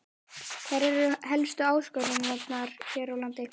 Hverjar eru helstu áskoranirnar hér á landi?